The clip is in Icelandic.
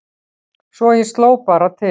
Svo ég sló bara til